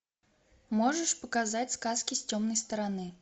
можешь показать сказки с темной стороны